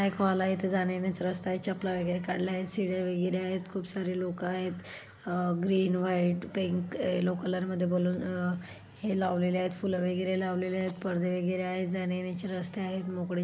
एक हॉल आहे इथे जाणे येण्याचा रस्ता आहे चप्पला वगैरे काढला आहेत सीडी वगैरे आहेत खूप सारे लोक आहेत आह green white pink yellow colour मध्ये बलून हे लावलेले आहेत फूला वगैरे लावलेले आहेत परदे वगैरे आहेत जाणे येणाचे रस्ते आहेत मोकळी --